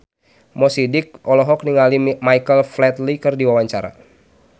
Mo Sidik olohok ningali Michael Flatley keur diwawancara